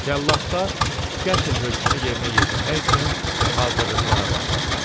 Cəlladlar qətl hökmünü yerinə yetirmək üçün hazırlıqlara başladılar.